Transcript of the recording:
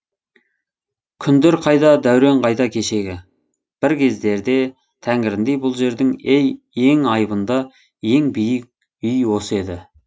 күндер қайда дәурен қайда кешегі бір кездерде тәңіріндей бұл жердің ең айбынды ең биік үй осы еді